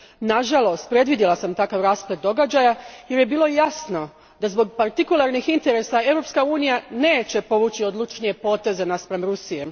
Nažalost, predvidjela sam takav rasplet događaja jer je bilo jasno da zbog partikularnih interesa Europska unija neće povući odlučnije poteze spram Rusije.